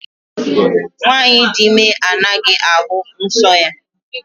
Nwaanyị di ime agaghị ahụ nsọ ya.